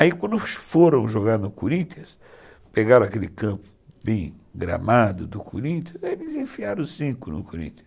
Aí quando foram jogar no Corinthians, pegaram aquele campo bem gramado do Corinthians, eles enfiaram cinco no Corinthians.